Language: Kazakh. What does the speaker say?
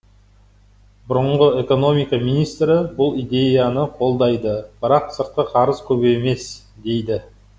бұрынғы экономика министрі бұл идеяны қолдайды бірақ сыртқы қарыз көп емес дейді